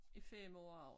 Er 5 år og